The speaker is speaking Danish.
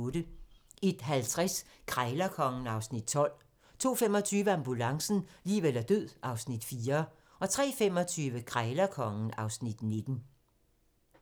01:50: Krejlerkongen (Afs. 12) 02:25: Ambulancen - liv eller død (Afs. 4) 03:25: Krejlerkongen (Afs. 19)